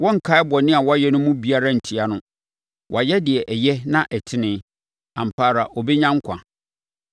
Wɔrenkae bɔne a wayɛ no mu biara ntia no. Wayɛ deɛ ɛyɛ na ɛtene, ampa ara ɔbɛnya nkwa.